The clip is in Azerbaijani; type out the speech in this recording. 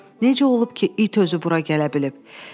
“Necə olub ki, it özü bura gələ bilib?”